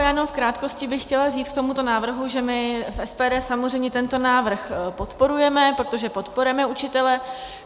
Já jenom v krátkosti bych chtěla říci k tomuto návrhu, že my v SPD samozřejmě tento návrh podporujeme, protože podporujeme učitele.